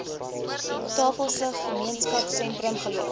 tafelsig gemeenskapsentrum geloods